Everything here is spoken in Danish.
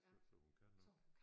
Så så hun kan nok